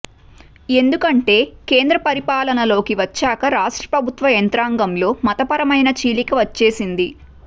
ఎందుకంటే కేంద్ర పరిపాలనలోకి వచ్చాక రాష్ట్రప్రభుత్వ యంత్రాంగంలో మతపరమైన చీలిక వచ్చేసింది